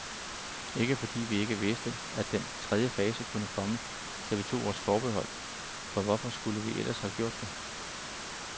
Ikke fordi vi ikke vidste, at den tredje fase kunne komme, da vi tog vores forbehold, for hvorfor skulle vi ellers have gjort det.